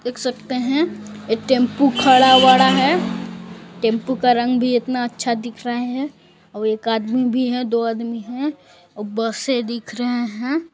देख सकते है एक टेम्पो खड़ा वड़ा है टेम्पो का रंग भी इतना अच्छा दिख रहे है अउ एक आदमी भी है दो आदमी है अउ बसे दिख रहे है।